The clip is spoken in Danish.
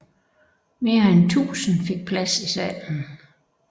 Mere end tusind fik plads i salen